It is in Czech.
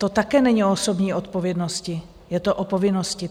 To také není o osobní odpovědnosti, je to o povinnosti.